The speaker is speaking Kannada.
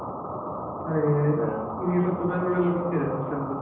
ನಿಂಗೆ ಸ್ವಲ್ಪ ಬೆಂಗ್ಳೂರೆಲ್ಲಾ ಗೊತ್ತಿದೆ ಅಲ್ಲ .